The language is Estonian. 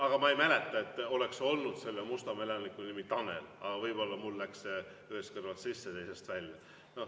Aga ma ei mäleta, et oleks olnud selle Mustamäe elaniku nimi Tanel, aga võib-olla mul läks ühest kõrvast sisse, teisest välja.